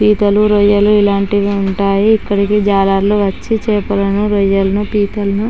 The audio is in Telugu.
పీతలు రొయ్యలు ఇలాంటివి ఉంటాయి. ఇక్కడికి జాలర్లు వచ్చి చాపలను రొయ్యలను పీతలను--